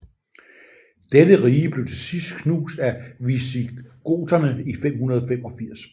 Dette rige blev til sidst knust af visigoterne i 585